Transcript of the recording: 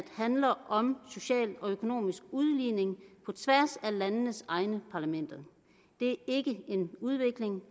handler om social og økonomisk udligning på tværs af landenes egne parlamenter det er ikke en udvikling